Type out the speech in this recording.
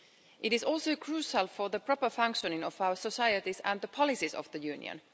It is also crucial for the proper functioning of our societies and the policies of the Union.